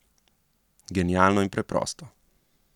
Genialno in preprosto.